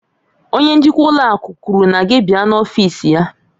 Onye njikwa ụlọ akụ kwuru na gị bịa n'ọfịs ya